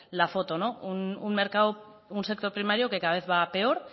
la foto un sector primario que cada vez va a peor